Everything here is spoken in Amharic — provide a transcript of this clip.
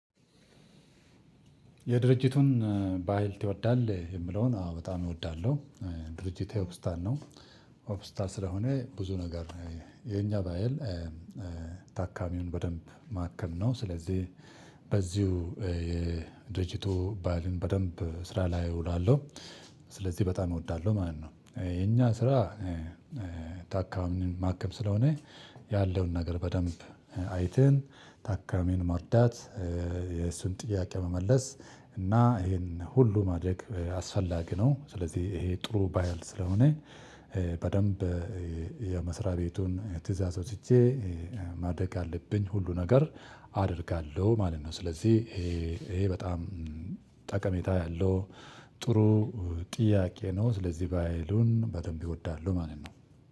የድርጅቱን ባህል ትወዳለህ የምለውን አዎ በጣም እወዳለሁ። ድርጅት ኦክስታን ነው። ኦክስታን ስለሆነ ብዙ ነገር ነው የኛ ባህል። ታካሚውን በደንብ ማከም ነው ስለዚህ በዚሁ የድርጅቱ ባህልን በደንብ ስራ ላይ እውላለሁ። ስለዚህ በጣም እወዳለሁ ማለት ነው የኛ ስራ። ታካሚን ማከም ስለሆነ ያለውን ነገር በደንብ አይተን ታካሚን መርዳት የእሱን ጥያቄ መመለስ እና ይሄን ሁሉ ማድረግ አስፈላጊ ነው። ስለዚህ ይሄ ጥሩ ባህል ስለሆነ። በደንብ የመስሪያ ቤቱን ትእዛዝ ወስጀ ማድረግ አለብኝ ሁሉ ነገር አደርጋለሁ ማለት ነው። ስለዚህ ይሄ በጣም ጠቀሜታ ያለው ጥሩ ጥያቄ ነው ስለዚህ ባህሉን በደንብ እወዳለሁ ማለት ነው።